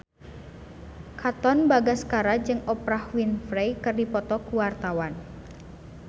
Katon Bagaskara jeung Oprah Winfrey keur dipoto ku wartawan